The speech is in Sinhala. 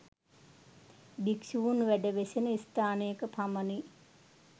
භික්ෂූන් වැඩ වෙසෙන ස්ථානයක පමණි